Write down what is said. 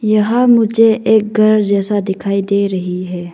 यहां मुझे एक घर जैसा दिखाई दे रही है।